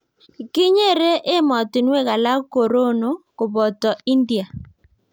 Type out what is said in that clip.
kinyere emotinwek alak korono koboto india.